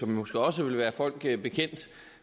måske også vil være folk bekendt